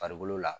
Farikolo la